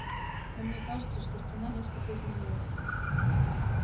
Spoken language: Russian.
но мне кажется что стена несколько изменилась